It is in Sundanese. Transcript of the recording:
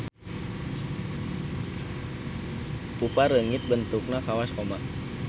Pupa reungit bentukna kawas koma.